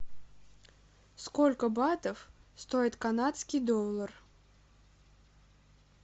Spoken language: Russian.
сколько батов стоит канадский доллар